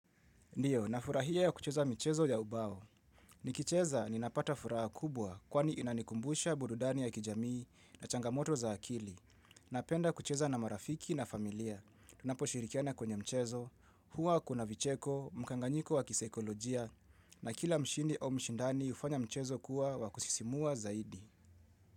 Ndiyo, nafurahia ya kucheza mchezo ya ubao. Nikicheza ninapata furaha kubwa kwani inanikumbusha burudani ya kijamii na changamoto za akili. Napenda kucheza na marafiki na familia. Tunapo shirikiana kwenye mchezo, huwa kuna vicheko, mkanganyiko wa kisaikolojia, na kila mshindi au mshindani hufanya mchezo kuwa wa kusisimua zaidi.